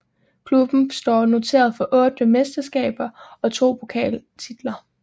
Klubben står noteret for 8 mesterskaber og 2 pokaltitler